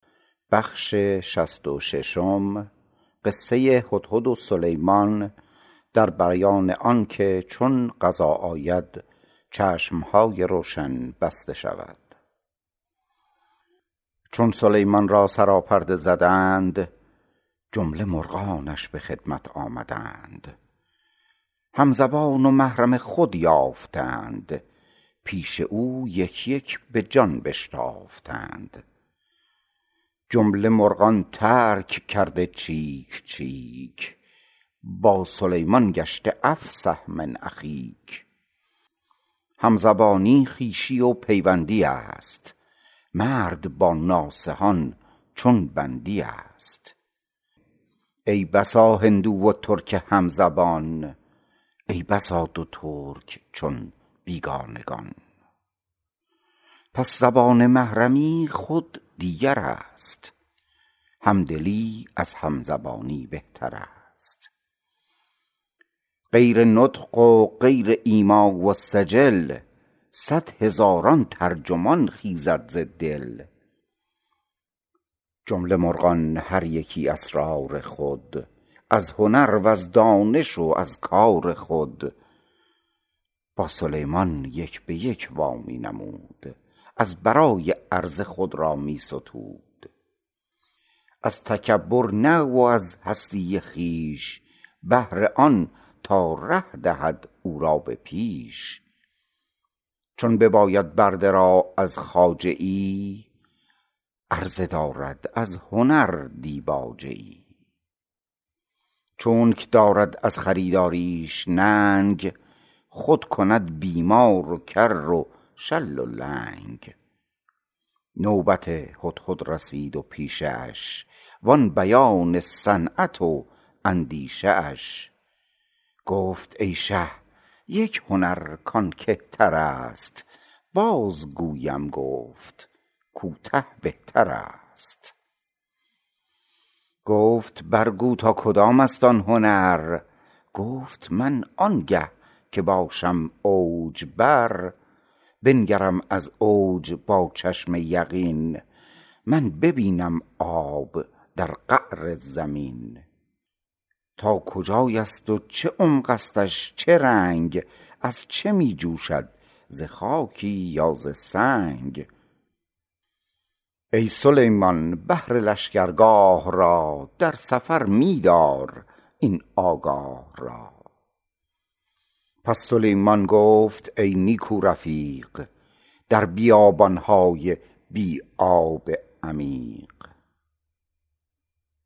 چون سلیمان را سراپرده زدند جمله مرغانش به خدمت آمدند هم زبان و محرم خود یافتند پیش او یک یک بجان بشتافتند جمله مرغان ترک کرده چیک چیک با سلیمان گشته افصح من اخیک همزبانی خویشی و پیوندی است مرد با نامحرمان چون بندی است ای بسا هندو و ترک همزبان ای بسا دو ترک چون بیگانگان پس زبان محرمی خود دیگرست همدلی از همزبانی بهترست غیر نطق و غیر ایما و سجل صد هزاران ترجمان خیزد ز دل جمله مرغان هر یکی اسرار خود از هنر وز دانش و از کار خود با سلیمان یک بیک وا می نمود از برای عرضه خود را می ستود از تکبر نه و از هستی خویش بهر آن تا ره دهد او را به پیش چون بباید برده را از خواجه ای عرضه دارد از هنر دیباجه ای چونک دارد از خریداریش ننگ خود کند بیمار و کر و شل و لنگ نوبت هدهد رسید و پیشه اش و آن بیان صنعت و اندیشه اش گفت ای شه یک هنر کان کهترست باز گویم گفت کوته بهترست گفت بر گو تا کدامست آن هنر گفت من آنگه که باشم اوج بر بنگرم از اوج با چشم یقین من ببینم آب در قعر زمین تا کجایست و چه عمقستش چه رنگ از چه می جوشد ز خاکی یا ز سنگ ای سلیمان بهر لشگرگاه را در سفر می دار این آگاه را پس سلیمان گفت ای نیکو رفیق در بیابانهای بی آب عمیق